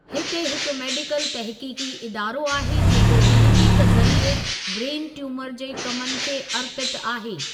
हिते हिकु मेडिकल तहक़ीक़ी इदारो आहे जेको तहक़ीक़ ज़रिए ब्रेन ट्यूमर जे कमनि खे अर्पितु आहे।